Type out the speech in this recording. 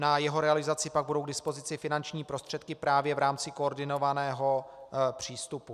Na jeho realizaci pak budou k dispozici finanční prostředky právě v rámci koordinovaného přístupu.